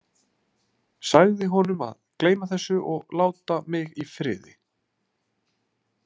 Sagði honum að gleyma þessu og láta mig í friði.